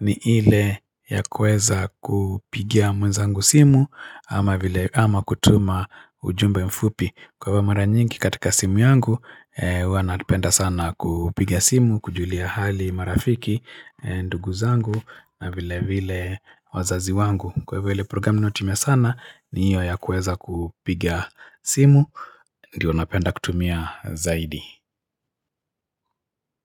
ni ile ya kueza kupigia mwenzangu simu ama kutuma ujumbe mfupi. Kwa hivyo mara nyingi katika simu yangu, huwa napenda sana kupiga simu, kujulia hali marafiki, ndugu zangu na vile vile wazazi wangu. Kwa hivo ile programu ninaotumia sana ni hiyo ya kuweza kupigia simu, ndiyo napenda kutumia zaidi.